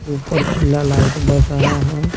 ऊपर पीला लाइट बर रहा है।